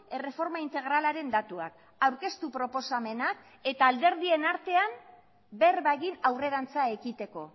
erreforma integralaren datuak aurkeztu proposamenak eta alderdien artean berba egin aurrerantza ekiteko